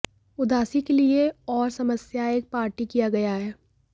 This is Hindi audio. उदासी के लिए और समस्याएं एक पार्टी किया गया है